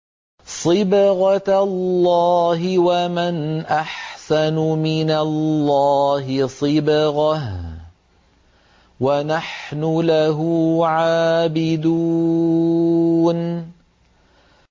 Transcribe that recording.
صِبْغَةَ اللَّهِ ۖ وَمَنْ أَحْسَنُ مِنَ اللَّهِ صِبْغَةً ۖ وَنَحْنُ لَهُ عَابِدُونَ